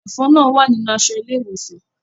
Ẹfọn náà wa ninu aṣọ ile-iwosan.